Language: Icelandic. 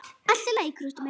Allt í lagi, krúttið mitt!